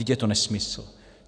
Vždyť je to nesmysl.